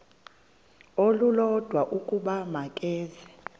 olulodwa ukuba makeze